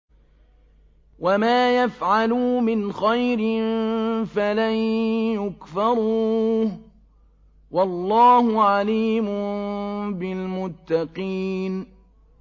وَمَا يَفْعَلُوا مِنْ خَيْرٍ فَلَن يُكْفَرُوهُ ۗ وَاللَّهُ عَلِيمٌ بِالْمُتَّقِينَ